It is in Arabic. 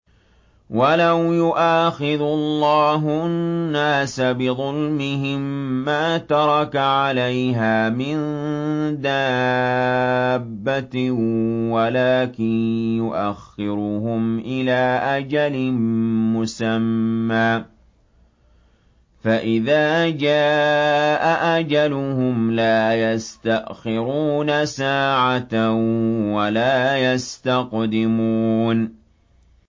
وَلَوْ يُؤَاخِذُ اللَّهُ النَّاسَ بِظُلْمِهِم مَّا تَرَكَ عَلَيْهَا مِن دَابَّةٍ وَلَٰكِن يُؤَخِّرُهُمْ إِلَىٰ أَجَلٍ مُّسَمًّى ۖ فَإِذَا جَاءَ أَجَلُهُمْ لَا يَسْتَأْخِرُونَ سَاعَةً ۖ وَلَا يَسْتَقْدِمُونَ